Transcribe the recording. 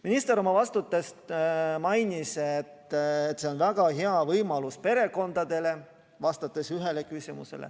Minister oma vastuses mainis, et see on väga hea võimalus perekondadele.